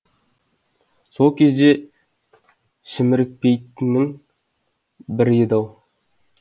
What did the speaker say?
сол кезде шімірікпейтіннің бірі еді ау